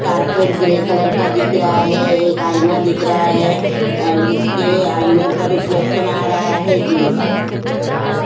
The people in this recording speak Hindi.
कार्पेट ग्रे कलर का दिख रहा है एक आईना दिख रहा है अ जिसके आईने पर रिफ्लेक्शन आ रहा है जिम का।